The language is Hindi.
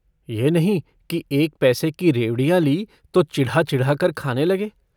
यह नहीं कि एक पैसे की रेवड़ियाँ ली तो चिढ़ा-चिढ़ाकर खाने लगे।